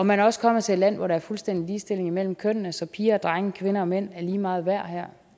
man er også kommet til et land hvor der er fuldstændig ligestilling imellem kønnene så piger og drenge og kvinder og mænd er lige meget værd her